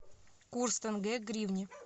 курс тенге к гривне